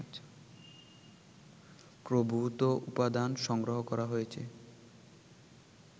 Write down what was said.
প্রভূত উপাদান সংগ্রহ করা হয়েছে